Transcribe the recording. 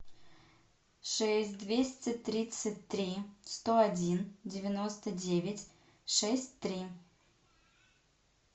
шесть двести тридцать три сто один девяносто девять шесть три